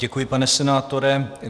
Děkuji, pane senátore.